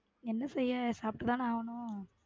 என்ன செய்ய சாப்டு தான ஆகணும்.